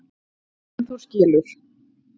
En þú skilur.